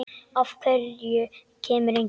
Af hverju kemur enginn?